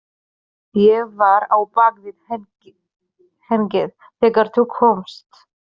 Ég var á bak við hengið þegar þú komst.